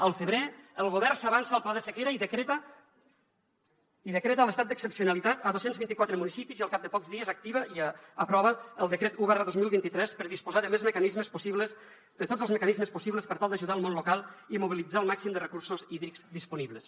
al febrer el govern s’avança al pla de sequera i decreta l’estat d’excepcionalitat a dos cents i vint quatre municipis i al cap de pocs dies activa i aprova el decret un dos mil vint tres per disposar de tots els mecanismes possibles per tal d’ajudar el món local i mobilitzar el màxim de recursos hídrics disponibles